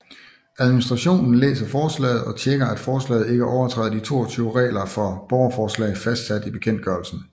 Administrationen læser forslaget og tjekker at forslaget ikke overtræder de 22 regler for borgerforslag fastsat i bekendtgørelsen